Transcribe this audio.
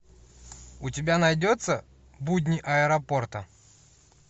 у тебя найдется будни аэропорта